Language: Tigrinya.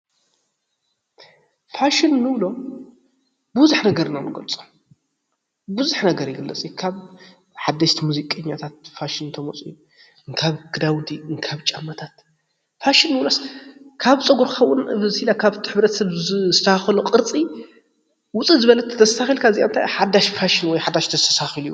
ፋሽን እንብሎም ብብዙሕ ነገር ኢና ንገልፆ ብዙሕ ነገር ይግለፅ እዩ፡፡ ካብ ሓደሽቲ ሙዚቃኛታት ፋሽን እንተመፅኡ ፣ ካብ ክዳውንቲ ፣ ካብ ጫማታት ፋሽን እንብሎስ ካብ ፀጉርካ እውን ካብ ሕብረተሰብ ዝስተኻኸሎ ቅርፂ ውፅእ ዝበለ እንተተስተኻኺልካ እዚኣ እንታይ እያ ሓዳሽ ፋሽን ወይ ሓዳሽ እንተተስተካኪሉ እዩ ፡፡